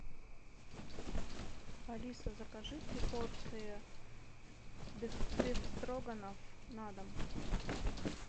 алиса закажи три порции бефстроганов на дом